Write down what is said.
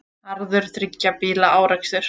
Harður þriggja bíla árekstur